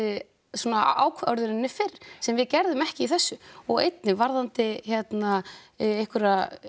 svona ákvörðunni fyrr sem við gerðum ekki í þessu og einnig varðandi hérna einhverja